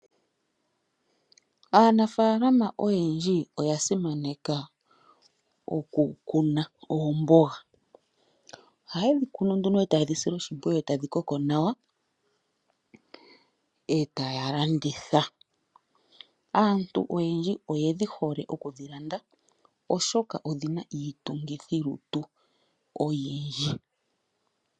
Aanafalama oyendji oya simaneka okukuna oomboga. Oha ye dhi kunu nduno e taye dhi sile oshimpwiyu, e tadhi koko nawa e taya landitha. Aantu oyendji oyedhi hole okudhi landa oshoka odhina iitungithilutu oyindji.